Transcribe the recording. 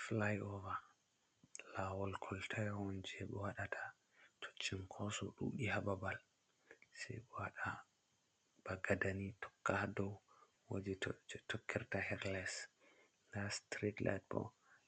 Flyover lawol kolta on je ɓe waɗata to chinkoso ɗudi ha ɓabal, se ɓe waɗa ba gada ni tokka dow wodi je tokkirta he'd less, nda strit lite ɓo